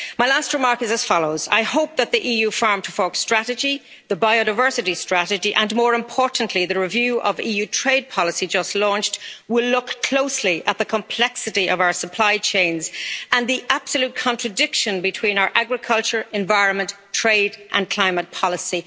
My last remark is as follows I hope that the EU Farm to Fork strategy, the biodiversity strategy, and more importantly the review of EU trade policy just launched, will look closely at the complexity of our supply chains and the absolute contradiction between our agriculture, environment, trade and climate policy.